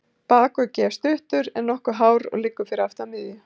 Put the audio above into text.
Bakuggi er stuttur, en nokkuð hár og liggur aftan við miðju.